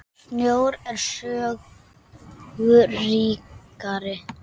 Sjón er sögu ríkari.